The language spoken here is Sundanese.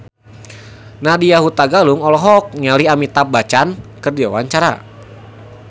Nadya Hutagalung olohok ningali Amitabh Bachchan keur diwawancara